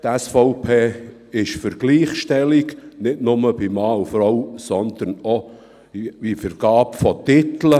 Die SVP ist für Gleichstellung – nicht nur zwischen Mann und Frau, sondern auch bei der Vergabe der Titel.